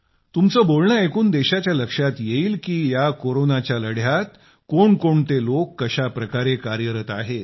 तुमचं बोलणं ऐकून देशाच्या लक्षात येईल की या कोरोनाच्या लढ्यात कोणकोणते लोक कशा प्रकारे कार्यरत आहेत